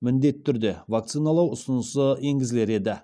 міндетті түрде вакциналау ұсынысы енгізілер еді